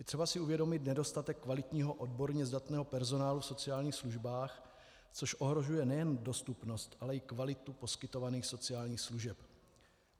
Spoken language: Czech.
Je třeba si uvědomit nedostatek kvalitního, odborně zdatného personálu v sociálních službách, což ohrožuje nejen dostupnost, ale i kvalitu poskytovaných sociálních služeb.